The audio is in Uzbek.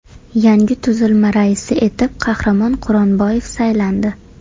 Yangi tuzilma raisi etib Qahramon Quronboyev saylandi .